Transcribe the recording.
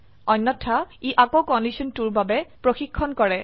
অন্যথা ই আকৌ কণ্ডিশ্যন 2ৰ বাবে পৰীক্ষা কৰে